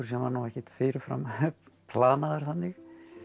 sem var ekkert fyrir fram planaður þannig